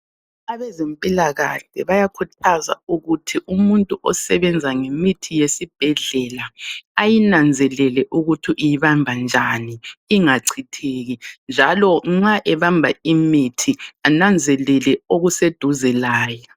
Abezempilakahle bayakhuthaza ukuthi umuntu osebenza ngemithi yesibhedlela ayinanzelele ukuthi uyibambanjani ingachitheki. Njalo nxa ebamba imithi ananzelele okuseduze layo.